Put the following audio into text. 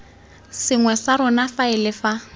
sengwe sa rona faele fa